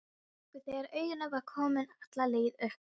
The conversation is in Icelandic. Hrökk við þegar augun voru komin alla leið upp.